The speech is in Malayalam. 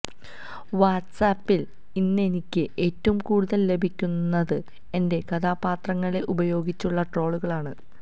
വാട്സ് ആപ്പില് ഇന്നെനിക്ക് ഏറ്റവും കൂടുതല് ലഭിക്കുന്നത് എന്റെ കഥാപാത്രങ്ങളെ ഉപയോഗിച്ചുള്ള ട്രോളുകളാണ്